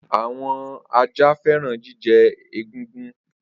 Awọn aja fẹran jijẹ egungun.